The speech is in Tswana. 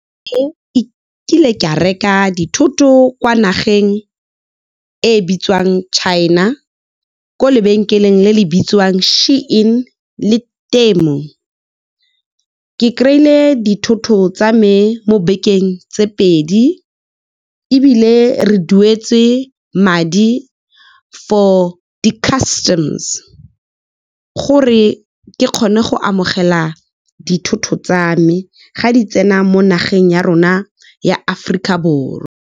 Ka reka dithoto kwa nageng e bitswang China, kwa lebenkeleng le le bitswang SHEIN le Temu. Ke kry-ile dithoto tsa me mo bekeng tse pedi, ebile re duetse madi for di-customs gore ke kgone go amogela dithoto tsa me, fa di tsena mo nageng ya rona ya Aforika Borwa.